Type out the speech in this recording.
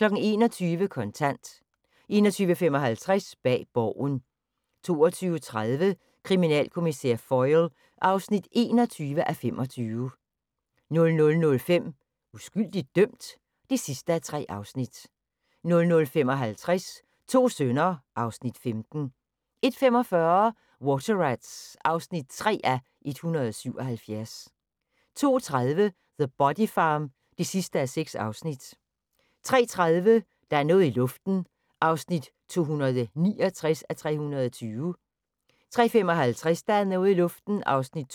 21:00: Kontant 21:55: Bag Borgen 22:30: Kriminalkommissær Foyle (21:25) 00:05: Uskyldigt dømt? (3:3) 00:55: To sønner (Afs. 15) 01:45: Water Rats (3:177) 02:30: The Body Farm (6:6) 03:30: Der er noget i luften (269:320) 03:55: Der er noget i luften (270:320)